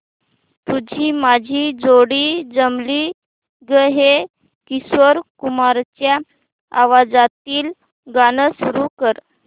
तुझी माझी जोडी जमली गं हे किशोर कुमारांच्या आवाजातील गाणं सुरू कर